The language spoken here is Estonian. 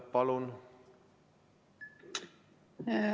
Palun!